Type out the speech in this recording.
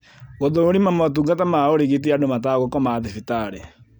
Gũthũrima motungata ma ũrigiti andũ matagũkoma thibitarĩ